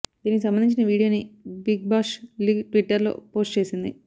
దీనికి సంబంధించిన వీడియో ని బిగ్ బాష్ లీగ్ ట్విట్టర్ లో పోస్ట్ చేసింది